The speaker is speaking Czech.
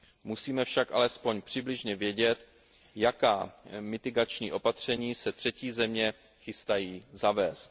Musíme však alespoň přibližně vědět, jaká mitigační opatření se třetí země chystají zavést.